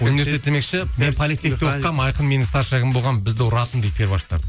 университет демекші мен политехта оқығанмын айқын менің старшагім болған бізді ұратын дейді перваштарды